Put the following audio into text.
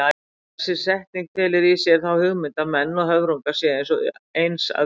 Þessi setning felur í sér þá hugmynd að menn og höfrungar séu eins að upplagi.